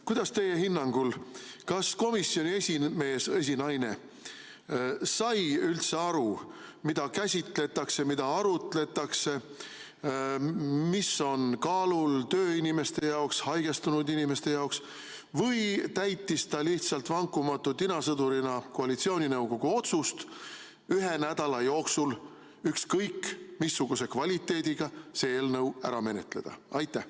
Kuidas teie hinnangul oli, kas komisjoni esinaine sai üldse aru, mida käsitletakse, mille üle arutletakse, mis on kaalul tööinimeste jaoks, haigestunud inimeste jaoks, või täitis ta lihtsalt vankumatu tinasõdurina koalitsiooninõukogu otsust ühe nädala jooksul see eelnõu ükskõik missuguse kvaliteediga ära menetleda?